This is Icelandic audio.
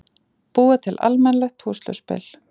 Búa til almennilegt púsluspil.